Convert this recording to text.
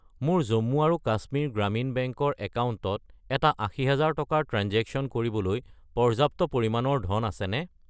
মোৰ জম্মু আৰু কাশ্মীৰ গ্ৰামীণ বেংক ৰ একাউণ্টত এটা 80000 টকাৰ ট্ৰেঞ্জেকশ্য়ন কৰিবলৈ পৰ্যাপ্ত পৰিমাণৰ ধন আছেনে?